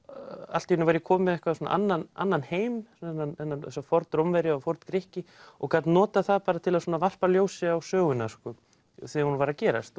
allt í einu var ég kominn með einhvern annan annan heim þessa Forn Rómverja og Forn Grikki og gat notað það til að varpa ljósi á söguna þegar hún var að gerast